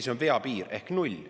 See on vea piir ehk 0.